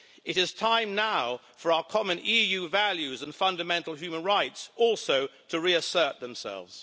It is time now for our common EU values and fundamental human rights also to reassert themselves.